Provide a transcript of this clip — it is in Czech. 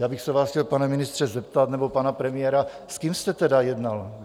Já bych se vás chtěl, pane ministře, zeptat, nebo pana premiéra, s kým jste tedy jednal.